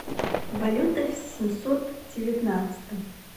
валюта в семьсот девятнадцатом